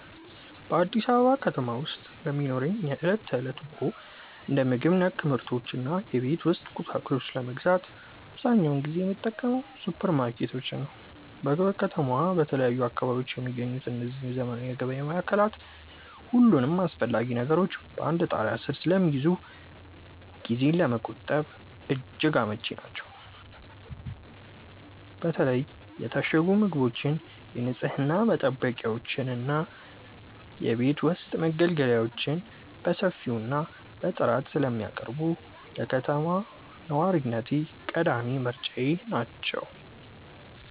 በአዲስ አበባ ከተማ ውስጥ ለሚኖረኝ የዕለት ተዕለት ኑሮ፣ እንደ ምግብ ነክ ምርቶች እና የቤት ውስጥ ቁሳቁሶችን ለመግዛት አብዛኛውን ጊዜ የምጠቀመው ሱፐርማርኬቶችን ነው። በከተማዋ በተለያዩ አካባቢዎች የሚገኙት እነዚህ ዘመናዊ የገበያ ማዕከላት፣ ሁሉንም አስፈላጊ ነገሮች በአንድ ጣሪያ ስር ስለሚይዙ ጊዜን ለመቆጠብ እጅግ አመቺ ናቸው። በተለይ የታሸጉ ምግቦችን፣ የንፅህና መጠበቂያዎችን እና የቤት ውስጥ መገልገያዎችን በሰፊው እና በጥራት ስለሚያቀርቡ፣ ለከተማ ነዋሪነቴ ቀዳሚ ምርጫዬ ናቸው።